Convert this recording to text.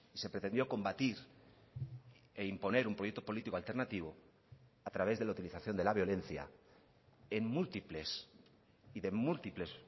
se pretendió combatir e imponer un proyecto político alternativo a través de la utilización de la violencia en múltiples y de múltiples